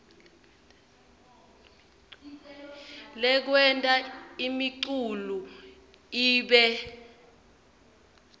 lekwenta imiculu ibe